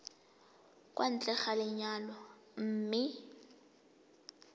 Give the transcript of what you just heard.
kwa ntle ga lenyalo mme